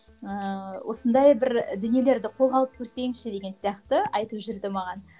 ыыы осындай бір дүниелерді қолға алып көрсеңші деген сияқты айтып жүрді маған